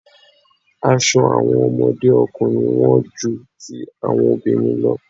Aṣọ àwọn ọmọdé ọkùnrin wón ju ti àwọn obìnrin lọ.